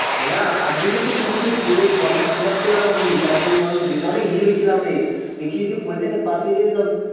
হ্যা তার জন্য তো বলছি from টা আমি তারজন্য আমি অনেক ভাবছিলাম দেখি পরীক্ষা তে জতি pass হয়ে যাই